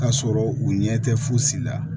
Ka sɔrɔ u ɲɛ tɛ fosi la